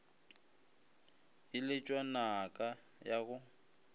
e letšwa naka ya go